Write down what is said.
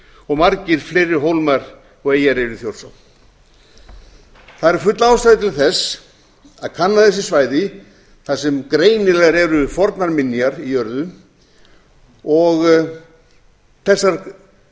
þrándarholtshólmi margir fleiri hólmar og eyjar eru í þjórsá það er full ástæða til þess að kanna þessi svæði þar sem greinilegar eru fornar minjar í jörðu og þessar